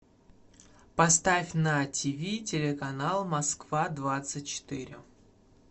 поставь на тв телеканал москва двадцать четыре